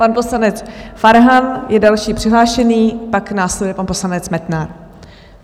Pan poslanec Farhan je další přihlášený, pak následuje pan poslanec Metnar.